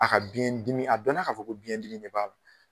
A ka biɲɛ dimi, a dɔnna ka fɔ ko biɲɛ dimi de b'a la.